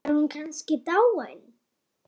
Var hún kannski dáin?